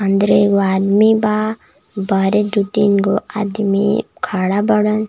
इधर एगो आदमी बा बहरे दो तीन गो आदमी खड़ा बाड़न।